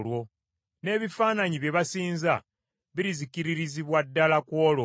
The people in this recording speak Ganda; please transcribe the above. N’ebifaananyi bye basinza birizikiririzibwa ddala ku olwo.